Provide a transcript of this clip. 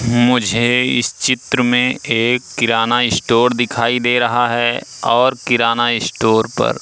मुझे इस चित्र में एक किराना ईस्टोर दिखाई दे रहा है और किराना ईस्टोर पर--